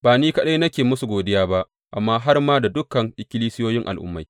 Ba ni kaɗai nake musu godiya ba amma har ma da dukan ikkilisiyoyin Al’ummai.